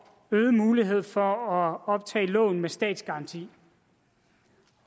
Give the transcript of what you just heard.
øget mulighed for at optage lån med statsgaranti